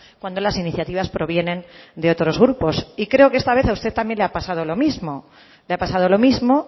cuando las iniciativas provienen de otros grupos y creo que esta vez a usted también le ha pasado lo mismo le ha pasado lo mismo